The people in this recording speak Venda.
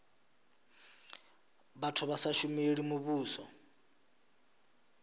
vhathu vha sa shumeli muvhuso